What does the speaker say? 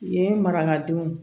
Yen marakadenw